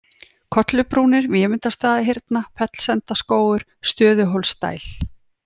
Kollubrúnir, Vémundarstaðahyrna, Fellsendaskógur, Stöðuhólsdæl